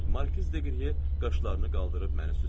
Markiz Deqriye qaşlarını qaldırıb məni süzür.